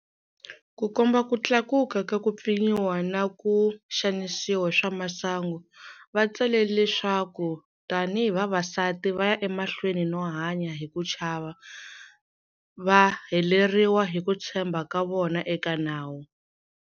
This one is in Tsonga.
Ku komba ku tlakuka ka ku pfinyiwa na ku xanisiwa hi swa masangu, va tsale leswaku tanihi vavasati va ya emahlweni no hanya hi ku chava, va heleriwa hi ku tshemba ka vona eka nawu.